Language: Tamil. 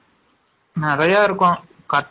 நிரையா இருக்கும்